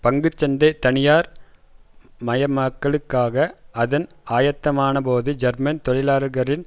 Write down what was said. பங்கு சந்தை தனியார்மயமாக்கலுக்கான அதன் ஆயத்தமானபோது ஜெர்மன் தொழிலாளர்களின்